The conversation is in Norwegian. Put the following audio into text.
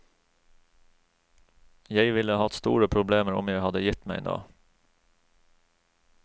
Jeg ville hatt store problemer om jeg hadde gitt meg nå.